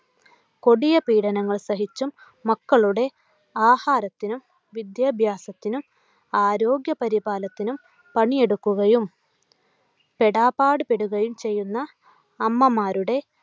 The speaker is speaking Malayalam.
കൊടിയ പീഡനങ്ങൾ സഹിച്ചും മക്കളുടെ ആഹാരത്തിനും വിദ്യാഭ്യാസത്തിനും ആരോഗ്യപരിപാലത്തിനും പണിയെടുക്കുകയും പെടാപ്പാടുപെടുകയും ചെയ്യുന്ന അമ്മമാരുടെ